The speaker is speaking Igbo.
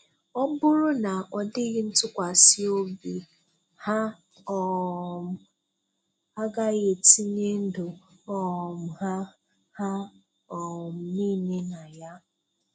Ọ bụrụ na ọdịghị ntụkwasị obi, ha um agaghị etinye ndụ um ha ha um niile na ya.